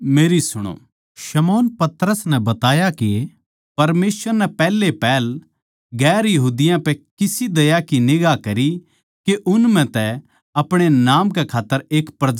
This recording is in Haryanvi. शमौन पतरस नै बताया के परमेसवर नै पैहलेपहल दुसरी जात्तां पै किसी दया की निगांह करी के उन म्ह तै अपणे नाम कै खात्तर एक प्रजा बणा ले